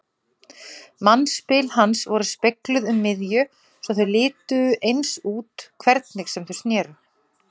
Mannspil hans voru spegluð um miðju svo þau litu eins út hvernig sem þau sneru.